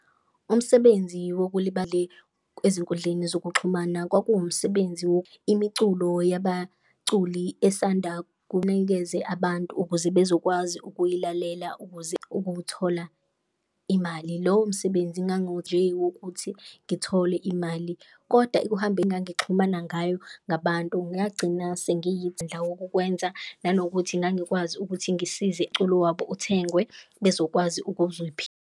Umsebenzi wokulibali ezinkundleni zokuxhumana kwakuwumsebenzi imiculo yabaculi esanda kunikeze abantu, ukuze bezokwazi ukuyilalela ukuze ukuwuthola imali. Lowo msebenzi nje ukuthi ngithole imali. Kodwa ukuhamba engangixhumana ngayo ngabantu ngagcina wokwenza nanokuthi ngangikwazi ukuthi ngisize wabo uthengwe bezokwazi .